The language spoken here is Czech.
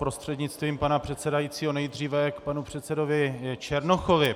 Prostřednictvím pana předsedajícího nejdříve k panu předsedovi Černochovi.